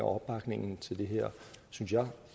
opbakningen til det her synes jeg